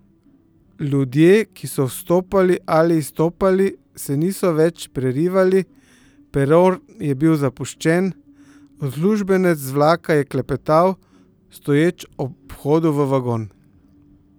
Ljudje, ki so vstopali ali izstopali se niso več prerivali, peron je bil zapuščen, uslužbenec z vlaka je klepetal, stoječ ob vhodu v vagon.